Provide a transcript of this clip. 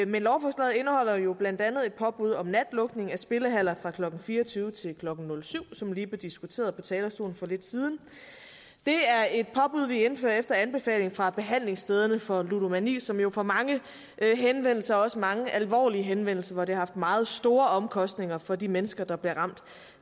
men lovforslaget indeholder jo blandt andet et påbud om natlukning af spillehaller fra klokken fire og tyve til klokken nul syv som det lige blev diskuteret på talerstolen for lidt siden det er et påbud vi indfører efter anbefaling fra behandlingsstederne for ludomani som jo får mange henvendelser også mange alvorlige henvendelser hvor det har haft meget store omkostninger for de mennesker der bliver ramt